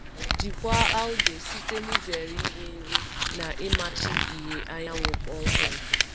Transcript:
Jikwaa algae site n'izere iri nri n'izere iri nri na ịmachi ìhè anyanwụ kpọmkwem.